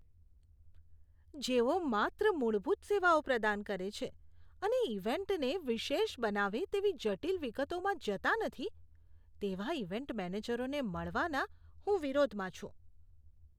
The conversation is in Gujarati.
જેઓ માત્ર મૂળભૂત સેવાઓ પ્રદાન કરે છે અને ઇવેન્ટને વિશેષ બનાવે તેવી જટિલ વિગતોમાં જતા નથી તેવા ઇવેન્ટ મેનેજરોને મળવાના હું વિરોધમાં છું.